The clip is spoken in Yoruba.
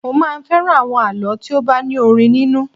Mo máa ń fẹ́ràn àwọn àlọ́ tí ó bá ní orin nínú